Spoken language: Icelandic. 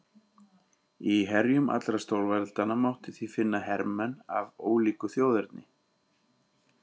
Í herjum allra stórveldanna mátti því finna hermenn af ólíku þjóðerni.